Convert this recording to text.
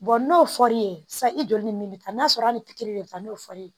n'o fɔr'i ye sa i joli ni min bɛ taa n'a sɔrɔ hali pikiri de bɛ taa n'o fɔr'i ye